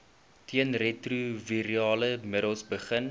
teenretrovirale middels begin